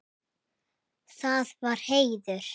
Það var heiður.